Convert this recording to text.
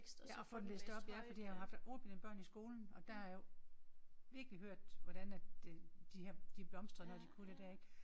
Ja og få den læst op ja fordi jeg har jo haft ordblinde børn i skolen og der har jeg jo virkelig hørt hvordan at det de her blomstrer når de kunne det der ik